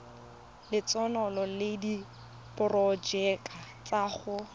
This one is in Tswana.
lotseno le diporojeke tsa go